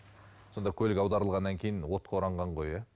сонда көлік аударылғаннан кейін отқа оранған ғой иә